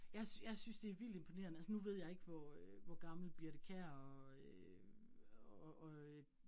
Jeg jeg synes det vildt imponerende, altså nu ved jeg ikke hvor øh hvor gammel Birthe Kjær og øh og øh